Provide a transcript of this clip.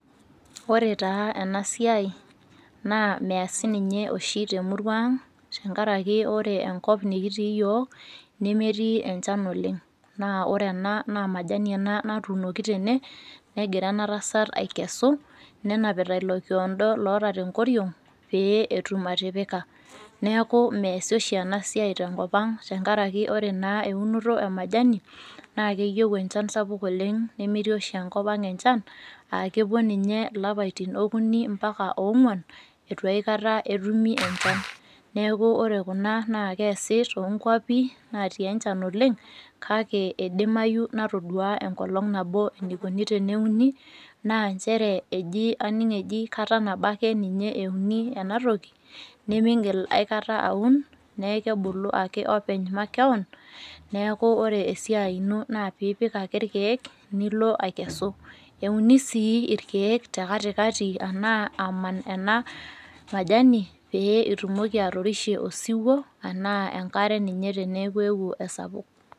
Ore taa enasiai, naa meesi ninye oshi temurua ang, tenkaraki ore enkop nikitii yiok, nemetii enchan oleng. Na ore ena naa majani ena natuunoki tene, negira ena tasat aikesu, nenapita ilo kiondo loota tenkoriong', pee etum atipika. Neeku meesi oshi enasiai tenkop ang' tenkaraki ore naa eunoto e majani, na keyieu enchan sapuk oleng nemetii oshi enkop ang enchan, akepuo ninye ilapaitin okuni mpaka ong'uan, itu aikata etumi enchan. Neeku ore kuna naa keesi tonkwapi natii enchan oleng, kake idimayu natodua enkolong nabo enikuni teneuni, naa njere ejii aning' eji kata nabo ake ninye euni enatoki, nimigil aikata aun, neeku kebulu ake openy makeon, neeku ore esiai ino naa piipik ake irkeek, nilo akesu. Euni si irkeek tekatikati anaa aman ena majani, pee itumoki atorishe osiwuo, anaa enkare ninye teneeku eewuo esapuk.